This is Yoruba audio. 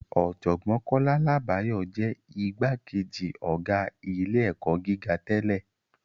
Ọ̀jọ̀gbọ́n Kọ́lá Làbáyọ̀ jẹ́ igbákejì ọ̀gá ilé-ẹ̀kọ́ gíga tẹ́lẹ̀